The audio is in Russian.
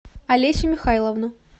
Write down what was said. олесю михайловну